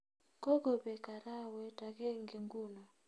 Kogobek arawet agenge nguno